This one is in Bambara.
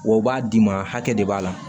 W'o b'a d'i ma hakɛ de b'a la